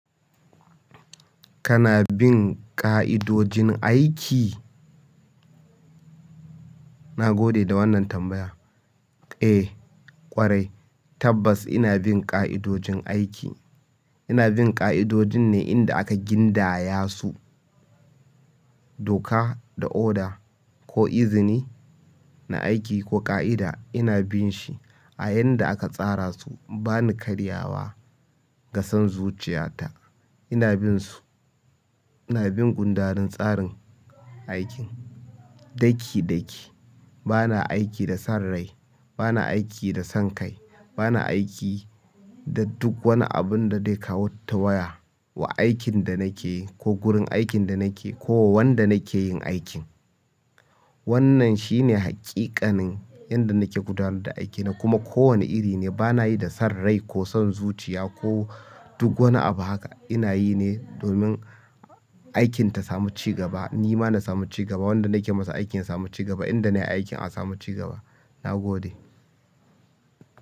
Kana bin ƙa'idojin aiki? Na gode da wannan tambaya. Eh ƙwarai tabbas ina bin ƙa'idojin aiki. Ina bin ƙa'idojin ne inda aka gindaya su doka da oda ko izini na aiki ko ƙa'ida ina bin shi a yanda aka tsara su. Bani karya wa ga son zuciya ta ina bin su. Ina bin gundarin tsarin aikin ɗaki ɗaki. Bana aiki da son rai, bana aiki da son kai, bana aiki da duk wani abun da dai ƙawata waya wa aikin da nake yi ko gurin aikin da nake yi ko wa wanda nake yin aikin. Wannan shine haƙiƙanin yanda nake gudanar da aikina kuma kowane iri ne bana yi da son rai ko son zuciya ko duk wani abu haka. Inayine domin aikin tasamu cigaba nima nasamu ciga ba wanda nakewa aikin yasamu ci gaba inda nakewa aikin asamu ci gaba nagode.